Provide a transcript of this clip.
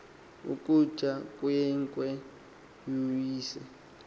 ukutya inkwenkwe uyise